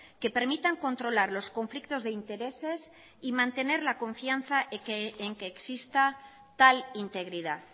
que permitan controlar los conflictos de intereses y mantener la confianza en que exista tal integridad